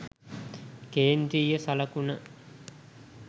කේන්ද්‍රීය සලකුණ